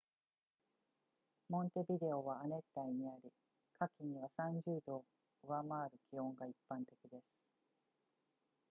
モンテビデオは亜熱帯にあり、夏季には 30℃ を上回る気温が一般的です